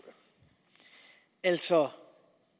altså